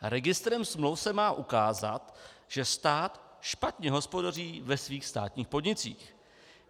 Registrem smluv se má ukázat, že stát špatně hospodaří ve svých státních podnicích.